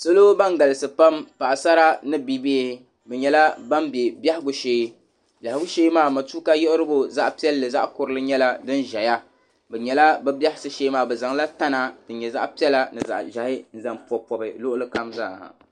Salo ban galisi pam paɣasara ni bibihi bɛ nyɛla ban be bɛhigu shee biɛhigu shee maa matuka yiɣirigu zaɣ'piɛlli zaɣ'kurili nyɛla din ʒeya bɛ nyɛla bɛ biɛhisi shee maa bɛ zaŋla tana din nyɛ zaɣ'piɛla zaɣ'ʒɛhi n-zaŋ pɔbi di luɣili kam zaa.